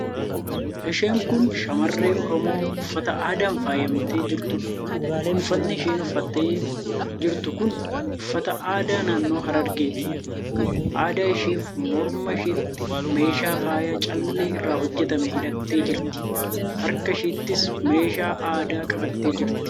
Isheen kun shamarree Oromoo uffata aadaan faayamtee jirtuudha. Uffatni isheen uffattee jirtu kan uffata aadaa naannoo Harargeeti. Adda isheefi morma isheetti meeshaa faayaa callee irraa hojjetame hidhattee jirti. Harka isheettis meeshaa aadaa qabattee jirti.